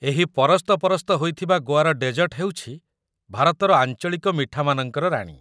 ଏହି ପରସ୍ତପରସ୍ତ ହୋଇ ଥିବା ଗୋଆର ଡେଜର୍ଟ ହେଉଛି ଭାରତର ଆଞ୍ଚଳିକ ମିଠାମାନଙ୍କର ରାଣୀ ।